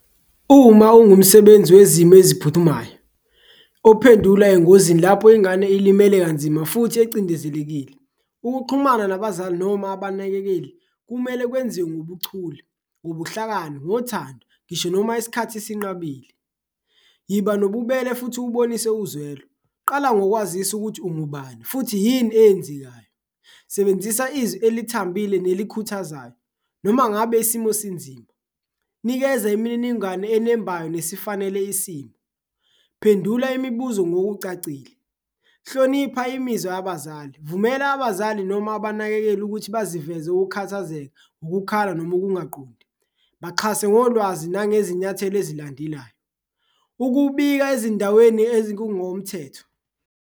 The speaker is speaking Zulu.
Uma ungumsebenzi wezimo eziphuthumayo ophendula engozini lapho ingane ilimele kanzima futhi ecindezelekile, ukuxhumana nabazali noma abanakekeli kumele kwenziwe ngobuchule, ngobuhlakani, ngothando ngisho noma isikhathi sinqabile, iba nobubele futhi ubonise uzwelo. Qala ngokwazisa ukuthi ungubani futhi yini eyenzekayo, sebenzisa izwi elithambile nelikhuthazayo noma ngabe isimo sinzima, nikeza imininingwane enembayo nesifanele isimo, phendula imibuzo ngokucacile. Hlonipha imizwa yabazali, vumela abazali noma abanakekeli ukuthi bazivele ukukhathazeka, ukukhala noma ukungaqondi, baxhase ngolwazi nangezinyathelo ezilandelayo, ukubika ezindaweni ezikungomthetho.